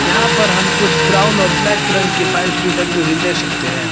यहां पर हम कुछ ब्राउन और ब्लैक रंग की फाइल्स भी टंगी हुई देख सकते हैं।